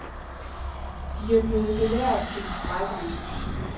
De er blevet belært tilstrækkeligt.